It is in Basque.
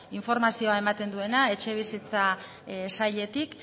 informazioa ematen duena etxebizitza sailetik